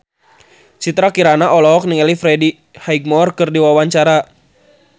Citra Kirana olohok ningali Freddie Highmore keur diwawancara